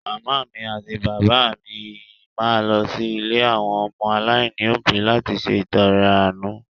Màmá mi àti bàbá mi máa lọ sí ilé àwọn ọmọ aláìní òbí láti ṣe ìtọrẹ àánú.